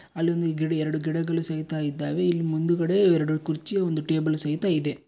ಅಲ್ಲೊಂದು ಗಿಡ ಎರೆಡು ಗಿಡಗಳು ಸಹಿತ ಇದ್ದಾವೆ ಇಲ್ ಮುಂದುಗಡೆ ಎರೆಡು ಕುರ್ಚಿ ಒಂದು ಟೇಬಲ್ ಸಹಿತ ಇದೆ.